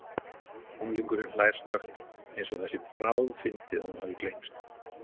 Unglingurinn hlær snöggt, eins og það sé bráðfyndið að hún hafi gleymst.